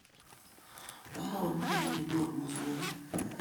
Maa komye akibor mosongik